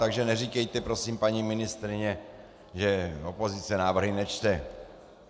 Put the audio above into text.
Takže neříkejte prosím, paní ministryně, že opozice návrhy nečte.